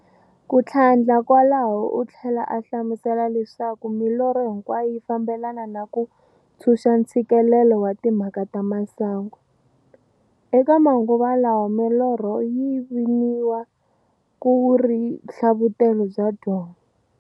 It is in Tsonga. Kuthlandla kwalaho uthlela a hlamusela leswaku milorho hinkwayo yi fambelana na ku ntshunxa ntshikelelo wa timhaka ta masangu. Eka manguva lawa milorho yi viniwa ku ri nhlavutelo bya byongo.